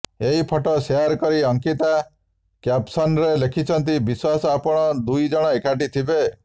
ଏହି photo share କରି ଅଙ୍କିତା କ୍ୟାପସନ୍ରେ ଲେଖିଛନ୍ତି ବିଶ୍ୱାସ ଆପଣ ଦୁଇ ଜଣ ଏକାଠି ଥିବେ